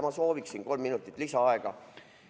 Ma sooviksin kolm minutit lisaaega!